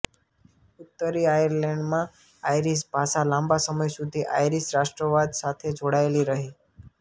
ઉત્તરી આયર્લૅન્ડમાં આયરિશ ભાષા લાંબા સમય સુધી આયરિશ રાષ્ટ્રવાદ સાથે જોડાયેલી રહી